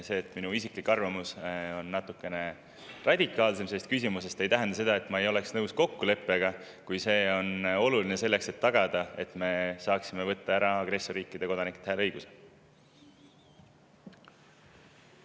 See, et minu isiklik arvamus on selles küsimuses natukene radikaalsem, ei tähenda seda, et ma ei oleks nõus kokkuleppega, kui see on oluline tagamaks, et me saaksime agressorriikide kodanikelt hääleõiguse ära võtta.